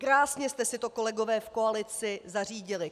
Krásně jste si to, kolegové v koalici, zařídili.